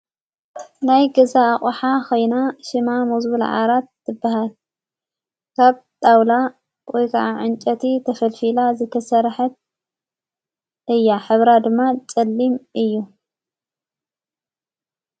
ናይ ገዛ ኣቝሓ ኸይና ሽማ ምዝብል ዓራት ትበሃል ካብ ጣውላ ወይ ከዓ ዕንጨቲ ተፈልፊላ ዝከሠርሐት እያ ኅብራ ድማ ጨሊም እዩ።